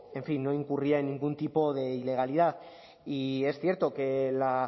en fin no incurría en ningún tipo de ilegalidad y es cierto que la